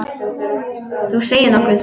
Þú segir nokkuð.